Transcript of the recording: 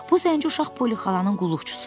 Bu zənci uşaq Poli xalanın qulluqçusu idi.